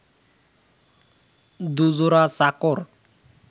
দু-জোড়া চাকর